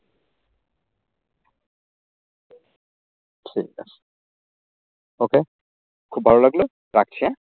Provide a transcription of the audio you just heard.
ঠিকাছে। okay খুব ভালো লাগলো। রাখছি হ্যাঁ।